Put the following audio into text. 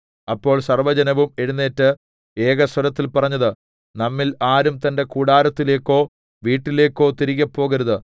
അപ്പോൾ സർവ്വജനവും എഴുന്നേറ്റ് ഏകസ്വരത്തിൽ പറഞ്ഞത് നമ്മിൽ ആരും തന്റെ കൂടാരത്തിലേക്കോ വീട്ടിലേക്കോ തിരികെപോകരുത്